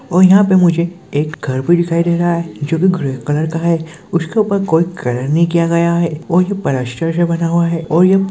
और यहाँ पे मुझे एक घर भी दिखाई दे रहा है जो की ग्रे कलर का है उसके ऊपर कोई कलर नहीं किया गया हैऔर ये पलस्तर से बना हुआ हैऔर ये--